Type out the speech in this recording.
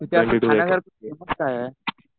तिथे खाण्यासाठी फेमस काय आहे?